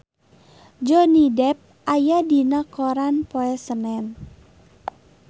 Johnny Depp aya dina koran poe Senen